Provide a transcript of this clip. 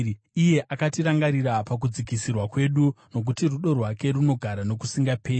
Iye akatirangarira pakudzikisirwa kwedu, Nokuti rudo rwake runogara nokusingaperi.